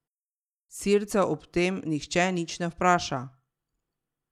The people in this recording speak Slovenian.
Sircev ob tem nihče nič ne vpraša.